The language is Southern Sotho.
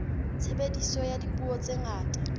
tshebediso ya dipuo tse ngata